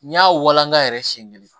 N y'a walanka yɛrɛ siɲɛ kelen